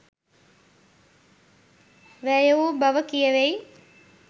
වැය වූ බව කියැවෙයි.